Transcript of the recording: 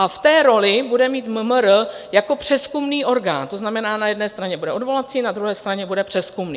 A v té roli bude mít MMR jako přezkumný orgán, to znamená na jedné straně bude odvolací, na druhé straně bude přezkumný.